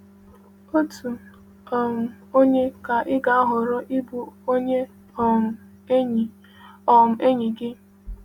Otu: um Ònye ka ị ga-ahọrọ ịbụ onye um enyi um enyi gị?